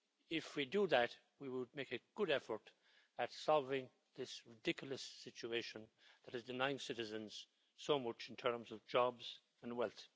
If we do that we will make a good effort at solving this ridiculous situation that is denying citizens so much in terms of jobs and wealth.